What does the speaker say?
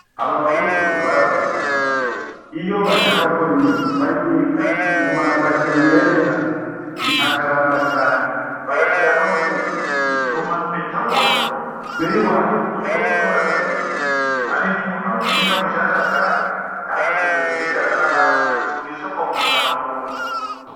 Abazungu baradusize iyo bashaka gukora imiti bayibika mu masashe meza i akaramba cane bagashiramwo n'imiti ituma bitabora tweho i wacu dupfa gukora ibintu, ariko hari umuhinga bushasha bwaje natwe tugiye guhiganwa n'abandi kw'isoko mpuzamakungu.